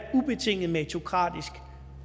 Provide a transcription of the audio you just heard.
ubetinget meritokratisk